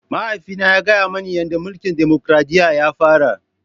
Mahaifina ya gaya mani yadda mulkin dimokuradiyya ya fara.